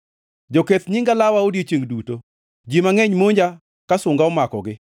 Joketh nyinga lawa odiechiengʼ duto; ji mangʼeny monja ka sunga omakogi.